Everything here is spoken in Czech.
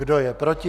Kdo je proti?